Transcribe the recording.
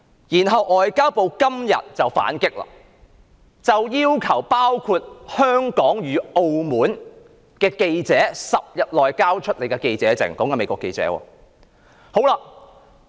然後外交部今天便反擊，要求包括香港與澳門的駐華美國記者在10天內交出記者證。